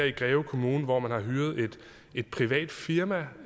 i greve kommune hvor man har hyret et privat firma